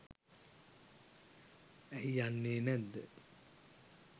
ඇයි යන්නේ නැද්ද